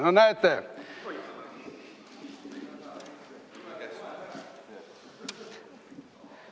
No näete.